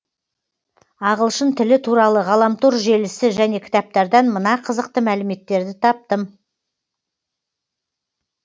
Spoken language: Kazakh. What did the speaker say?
ағылшын тілі туралы ғаламтор желісі және кітаптардан мына қызықты мәліметтерді таптым